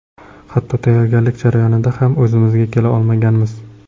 Hatto tayyorgarlik jarayonida ham o‘zimizga kela olmaganmiz.